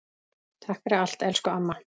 Takk fyrir allt, elsku amma.